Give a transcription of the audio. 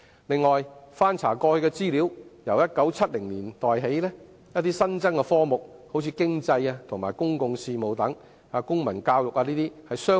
此外，翻查過去的資料可得知，由1970年代起，一些新增科目相繼湧現，例如經濟及公共事務和公民教育等。